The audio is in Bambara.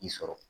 I sɔrɔ